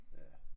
Ja